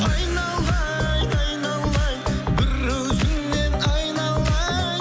айналайын айналайын бір өзіңнен айналайын